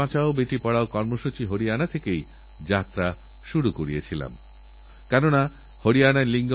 একটুপরিষ্কারপরিচ্ছন্নতার প্রতি মনোযোগী থাকার চেষ্টা করুন একটু সতর্ক থাকুনসুরক্ষিত থাকার চেষ্টা করুন